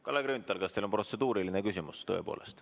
Kalle Grünthal, kas teil on tõepoolest protseduuriline küsimus?